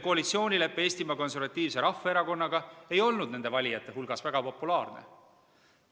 Koalitsioonilepe Eesti Konservatiivse Rahvaerakonnaga ei olnud nende valijate hulgas väga populaarne.